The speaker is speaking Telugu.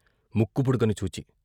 ముక్కుపుడకని చూచి.